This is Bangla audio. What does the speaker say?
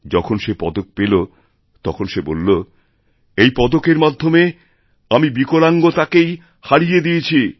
যখন সে পদক পেল তখন সে বলল এইপদকের মাধ্যমে আমি বিকলাঙ্গতাকেই হারিয়ে দিয়েছি